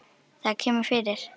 Það kemur fyrir.